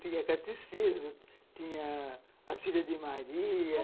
Tinha catecismo, tinha a Filhas de Maria.